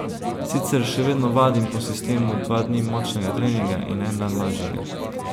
Sicer še vedno vadim po sistemu dva dni močnega treninga in en dan lažjega.